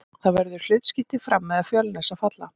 Það verður hlutskipti Fram eða Fjölnis að falla.